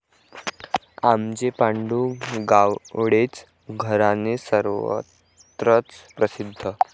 आमचे पांडु गावडेंचे घराणे सर्वत्रच प्रसिद्ध.